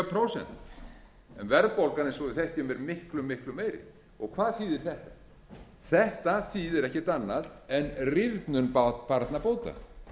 prósent en verðbólgan eins og vi þekkjum eru miklu miklu meiri hvað þýðir þetta þetta þýðir ekkert annað en börnum barnabóta